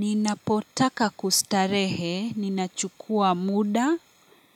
Ninapotaka kustarehe, ninachukua muda,